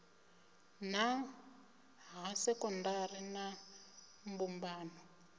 nha ha sekondari na mbumbano